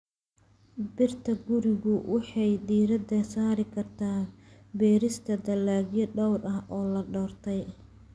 Beerta gurigu waxay diiradda saari kartaa beerista dalagyo dhowr ah oo la doortay.